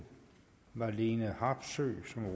marlene harpsøe som